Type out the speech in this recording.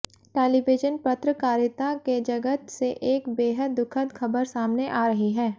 television पत्रकारिता के जगत से एक बेहद दुखद खबर सामने आ रही है